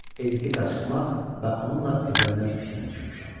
Editi qaçırtmaq və onunla evlənmək fikrinə düşmüşəm.